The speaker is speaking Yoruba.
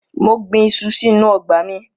Mo gbin iṣu sínú ọgbà mi.